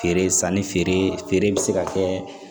Feere sanni feere be se ka kɛ